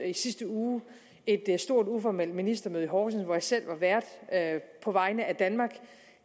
i sidste uge et stort uformelt ministermøde i horsens hvor jeg selv var vært på vegne af danmark